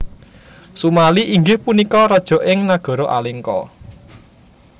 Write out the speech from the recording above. Sumali inggih punika raja ing Nagara Alengka